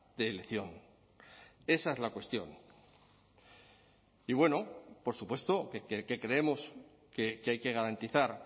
de elección esa es la cuestión y bueno por supuesto que creemos que hay que garantizar